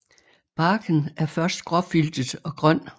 Barken er først gråfiltet og grøn